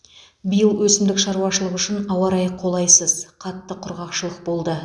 биыл өсімдік шаруашылығы үшін ауа райы қолайсыз қатты құрғақшылық болды